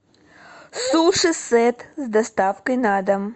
суши сет с доставкой на дом